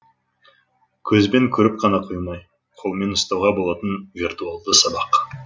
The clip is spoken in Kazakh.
көзбен көріп қана қоймай қолмен ұстауға болатын виртуалды сабақ